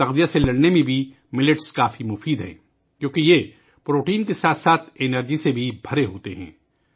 millet تغذیہ کی کمی سے لڑنے میں بھی بہت فائدہ مند ہے کیونکہ یہ پروٹین کے ساتھ ساتھ توانائی سے بھی بھرپور ہوتے ہیں